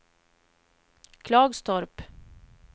Klagstorp